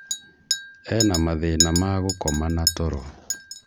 Ena mathĩna ma gũkoma na toro.